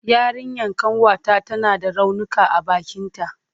Yarinyan ƙanwata tana da raunuka a bakinta.